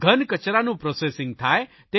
ઘનકચરાનું processing થાય